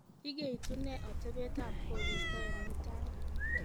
igeitune otebet at koristo en mutai